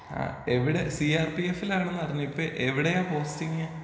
ആ എവിടെ C R P എഫ്ഫിലാണെന്നറിഞ്ഞു ഇപ്പൊ എവിടെയാ പോസ്റ്റിങ്ങ്?